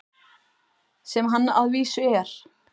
Sem hann að vísu er.